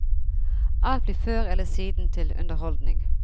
Alt blir før eller siden til underholdning.